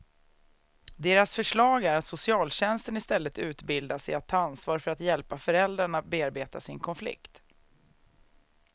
Deras förslag är att socialtjänsten istället utbildas i att ta ansvar för att hjälpa föräldrarna bearbeta sin konflikt.